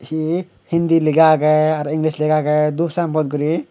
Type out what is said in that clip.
hi hindi lega agey aro inglis lega agey dup sinebot guri.